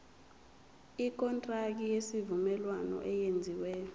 ikontraki yesivumelwano eyenziwe